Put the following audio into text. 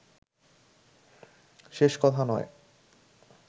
শেষ কথা নয়